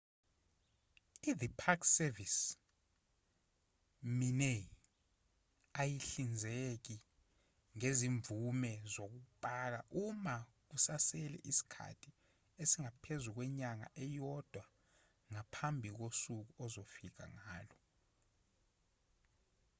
i-the park service minae ayihlinzeki ngezimvume zokupaka uma kusasele isikhathi esingaphezu kwenyanga eyodwa ngaphambi kosuku ozofika ngalo